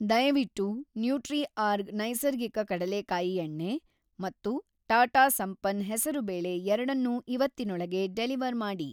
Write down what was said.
ದಯವಿಟ್ಟು‌ ನ್ಯೂಟ್ರಿಆರ್ಗ್ ನೈಸರ್ಗಿಕ ಕಡಲೇಕಾಯಿ ಎಣ್ಣೆ ಮತ್ತು ಟಾಟಾ ಸಂಪನ್ನ್ ಹೆಸರುಬೇಳೆ ಎರಡನ್ನೂ ಇವತ್ತಿನೊಳಗೆ ಡೆಲಿವರ್‌ ಮಾಡಿ.